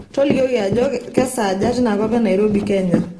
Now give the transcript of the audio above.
tolikioki ajo keesaja tinakop enairobi kenya